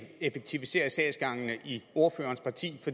effektiviserer sagsgangene i ordførerens parti